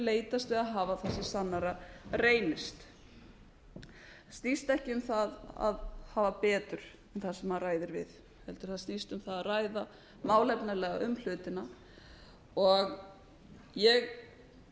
leitast við að hafa það sem sannara reynist það snýst ekki um það að hafa betur en sá sem maður ræðir við heldur snýst það um það að ræða málefnalega um hlutina ég verð